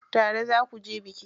Tare za kuje biki?